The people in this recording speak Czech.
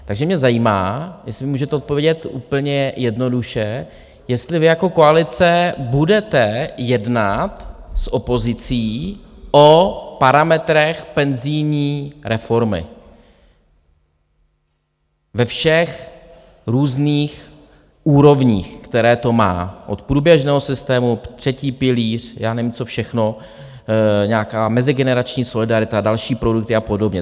Takže mě zajímá, jestli můžete odpovědět úplně jednoduše, jestli vy jako koalice budete jednat s opozicí o parametrech penzijní reformy ve všech různých úrovních, které to má - od průběžného systému, třetí pilíř, já nevím, co všechno, nějaká mezigenerační solidarita, další produkty a podobně?